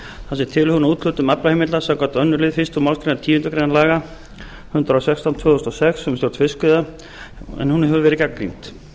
tilhögun á úthlutun aflaheimilda samkvæmt öðrum tölulið fyrstu málsgreinar tíundu grein laga númer hundrað og sextán tvö þúsund og sex um stjórn fiskveiða hefur verið gagnrýnd